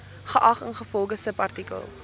geag ingevolge subartikel